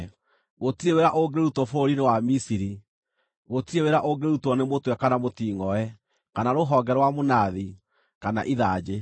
Gũtirĩ wĩra ũngĩrutwo bũrũri-inĩ wa Misiri: gũtirĩ wĩra ũngĩrutwo nĩ mũtwe kana mũtingʼoe, kana rũhonge rwa mũnathi, kana ithanjĩ.